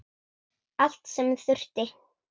Allt sem þurfti.